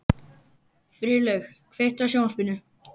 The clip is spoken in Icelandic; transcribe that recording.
Friðlaug, kveiktu á sjónvarpinu.